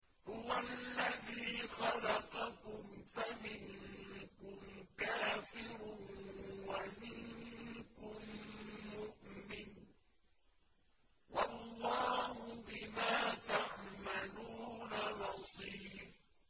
هُوَ الَّذِي خَلَقَكُمْ فَمِنكُمْ كَافِرٌ وَمِنكُم مُّؤْمِنٌ ۚ وَاللَّهُ بِمَا تَعْمَلُونَ بَصِيرٌ